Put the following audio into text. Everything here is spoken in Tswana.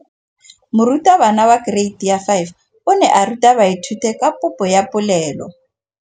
Moratabana wa kereiti ya 5 o ne a ruta baithuti ka popô ya polelô.